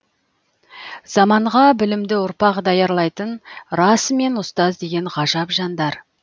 заманға білімді ұрпақ даярлайтын расымен ұстаз деген ғажап жандар